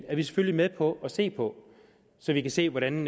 er vi selvfølgelig med på at se på så vi kan se hvordan